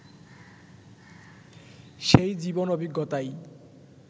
সেই জীবন-অভিজ্ঞতাই